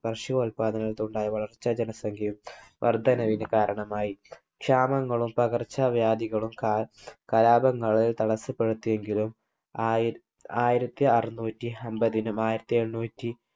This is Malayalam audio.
ഭഷ്യോല്പാദനത്തിലുണ്ടായ വളർച്ച ജനസംഖ്യയും വർധനവിന് കാരണമായി. ക്ഷാമങ്ങളും പകർച്ചാവ്യാധികളും കലാപങ്ങളെ തടസപ്പെടുത്തിയെങ്കിലും ആയിരത്തി അറുനൂറ്റി അൻപതിനും ആയിരത്തി എണ്ണൂറ്റി